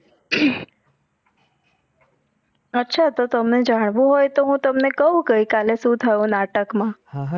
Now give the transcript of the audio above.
અચ્છા તો તમને જાણવું હોય તો તમને કહું ગઈકાલે શું થયું નાટક માં. હા હા